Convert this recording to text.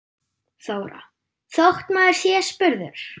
Þóra: Þótt maður sé spurður?